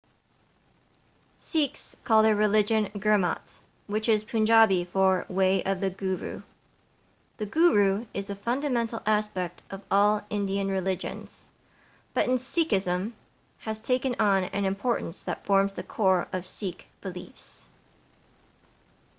sikhs call their religion gurmat which is punjabi for way of the guru the guru is a fundamental aspect of all indian religions but in sikhism has taken on an importance that forms the core of sikh beliefs